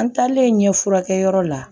An taalen ɲɛf'u la